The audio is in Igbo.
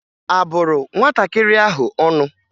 A bụrụ nwatakịrị ahụ ọnụ?